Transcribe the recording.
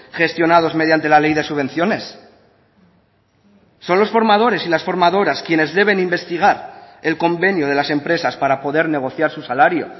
gestionados mediante la ley de subvenciones son los formadores y las formadoras quienes deben investigar el convenio de las empresas para poder negociar su salario